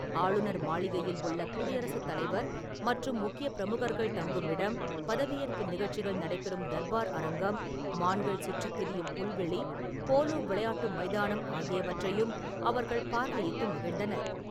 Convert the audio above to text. ஆளுநர் மாளிகையில் உள்ள குடியரசு தலைவர் மற்றும் முக்கியப் பிரமுகர்கள் தங்கும் இடம், பதவியேற்பு நிகழ்ச்சிகள் நடைபெறும் தர்பார் அரங்கம், மான்கள் சுற்றித் திரியும் புல்வெளி, போலோ விளையாட்டு மைதானம் ஆகியவற்றையும் அவர்கள் பார்வையிட்டு மகிழ்ந்தனர்.